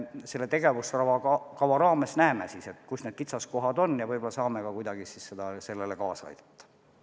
Selle tegevuskava elluviimise raames me näeme, kus need kitsaskohad on, ja võib-olla saame kuidagi kaasa aidata.